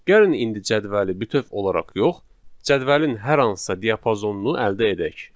Gəlin indi cədvəli bütöv olaraq yox, cədvəlin hər hansısa diapazonunu əldə edək.